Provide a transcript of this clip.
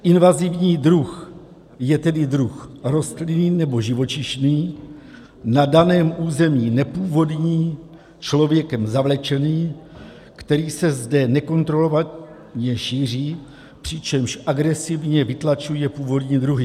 "Invazivní druh je tedy druh rostlinný nebo živočišný, na daném území nepůvodní, člověkem zavlečený, který se zde nekontrolovaně šíří, přičemž agresivně vytlačuje původní druhy.